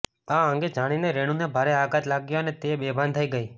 આ અંગે જાણીને રેણુને ભારે આઘાત લાગ્યો અને તે બેભાન થઈ ગઈ